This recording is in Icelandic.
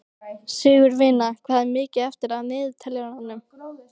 Sigurvina, hvað er mikið eftir af niðurteljaranum?